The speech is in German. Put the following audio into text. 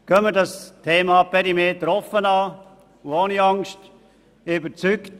Gehen wir das Thema Perimeter offen und ohne Angst an.